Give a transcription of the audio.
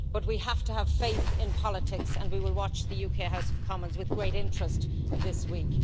But we have to have faith in politics, and we will watch the UK House of Commons with great interest this week.